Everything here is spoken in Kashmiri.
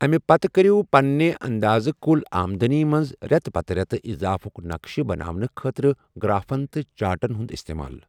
اَمہِ پَتہٕ کٔرِو پَنٛنہِ انٛدازن کُل آمدٔنی منٛز ریٚتہٕ پتہٕ ریٚتہٕ اِضافُک نقشہٕ بناونہٕ خٲطرٕ گرٛافن تہٕ چاٹن ہُنٛد اِستعمال۔